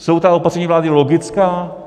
Jsou ta opatření vlády logická?